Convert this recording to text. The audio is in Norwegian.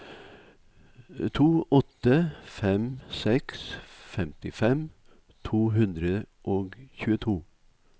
to åtte fem seks femtifem to hundre og tjueto